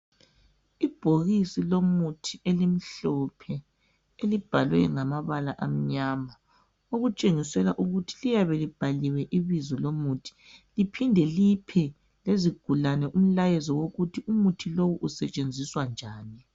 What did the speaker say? Ibhokisi lomuthi elimhlophe elibhalwe ngamabala amnyama okutshengisela ukuthi liyabe libhaliwe ibizo lomuthi liphinde liphe lezigulane umlayezo wokuthi umuthi lo usetshenziswa njani.